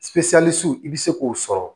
i bɛ se k'o sɔrɔ